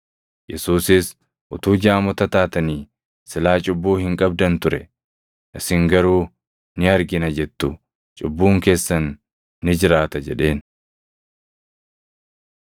Yesuusis, “Utuu jaamota taatanii silaa cubbuu hin qabdan ture; isin garuu, ‘Ni argina’ jettu; cubbuun keessan ni jiraata” jedheen.